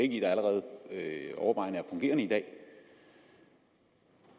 i allerede overvejende er fungerende i dag